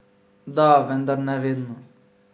Da, vendar ne vedno.